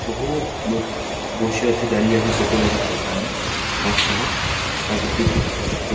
বহু লোক বসে আছে দাঁড়িয়ে আছে টোটো দেখাচ্ছে সামনে গাছপালা প্রাকৃতিক প--